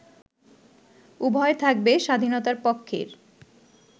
উভয় থাকবে স্বাধীনতার পক্ষের